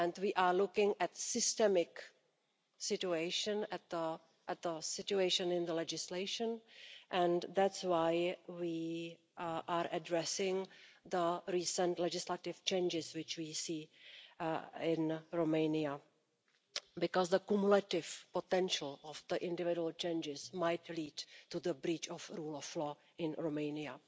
We are looking at a systemic situation, at the situation in the legislation, and that's why we are addressing the recent legislative changes which we see in Romania, because the cumulative potential of the individual changes might lead to the breach of the rule of law in Romania.